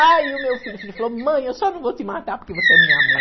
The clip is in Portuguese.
Aí o meu filho falou, mãe, eu só não vou te matar porque você é minha mãe.